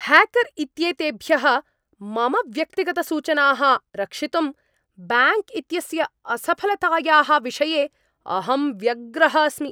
Hacker इत्येतेभ्यः मम व्यक्तिगतसूचनाः रक्षितुं ब्याङ्क् इत्यस्य असफलतायाः विषये अहं व्यग्रः अस्मि।